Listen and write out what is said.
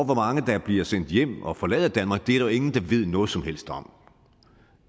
hvor mange der bliver sendt hjem og forlader danmark er der ingen der ved noget som helst om